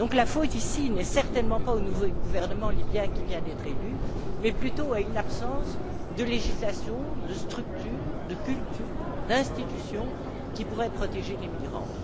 La faute n'est donc certainement pas au nouveau gouvernement libyen qui vient d'être élu, mais plutôt à une absence de législation, de structure, de culture, d'institutions qui pourraient protéger les migrants.